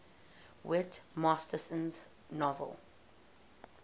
whit masterson's novel